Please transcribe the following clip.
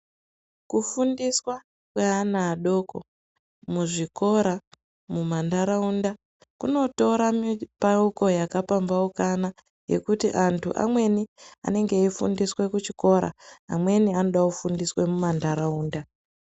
Kufundiswa kweana adoko muzvikora, muma ndaraunda kunotora mipauko yaka pambaukana yekuti antu amweni anenge eyifundiswa kuchikora amweni anoda kufundiswa muma ndaraunda.